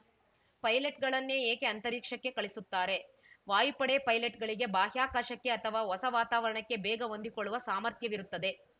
ಪೈಲಟ್‌ಗಳನ್ನೇ ಏಕೆ ಅಂತರಿಕ್ಷಕ್ಕೆ ಕಳಿಸ್ತಾರೆ ವಾಯುಪಡೆ ಪೈಲಟ್‌ಗಳಿಗೆ ಬಾಹ್ಯಾಕಾಶಕ್ಕೆ ಅಥವಾ ಹೊಸ ವಾತಾವರಣಕ್ಕೆ ಬೇಗ ಹೊಂದಿಕೊಳ್ಳುವ ಸಾಮರ್ಥ್ಯವಿರುತ್ತದೆ